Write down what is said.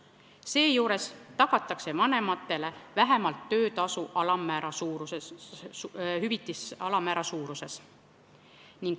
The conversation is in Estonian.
Seejuures tagatakse vanematele hüvitis vähemalt töötasu alammäära suuruses.